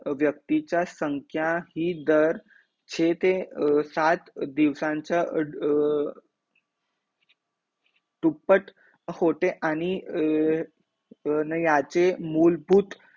व्यक्तीचा संख्याही दर छे ते सात दिवसांचा दुपट्ट होते आणि न याचे मूल भूत